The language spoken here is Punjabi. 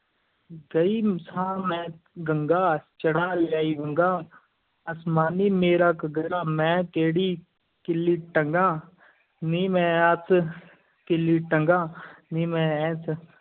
ਗਈ ਸਾਂ ਮੈਂ ਗੰਗਾ, ਚੜ੍ਹਾ ਲਿਆਈ ਵੰਗਾਂ, ਅਸਮਾਨੀ ਮੇਰਾ ਘੱਗਰਾ, ਮੈਂ ਕਿਹੜੀ ਕਿੱਲੀ ਟੰਗਾ, ਨੀ ਮੈਂ ਐਸ ਕਿੱਲੀ ਟੰਗਾਂ ਨੀ ਮੈਂ ਐਸ